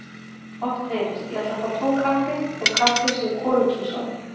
Oft heyrist: Ég ætla að fá tvo kaffi þótt kaffi sé hvorugkynsorð.